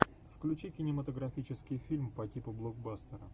включи кинематографический фильм по типу блокбастера